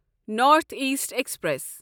north east express